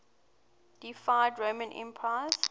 deified roman emperors